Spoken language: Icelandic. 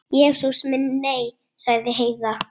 Jesús minn, nei, sagði Heiða.